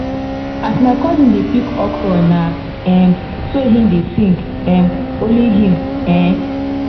as my cousin dey pick okra na um so him dey sing um only im um